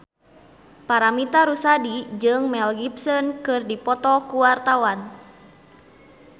Paramitha Rusady jeung Mel Gibson keur dipoto ku wartawan